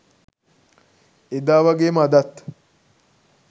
එදා වගේම අදත්